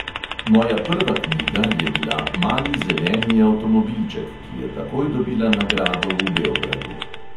Moja prva knjiga je bila "mali zeleni avtomobilček", ki je takoj dobila nagrado v beogradu.